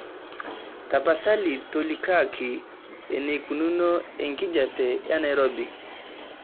tapasali tolikioki eneikununo enkijiape enairobi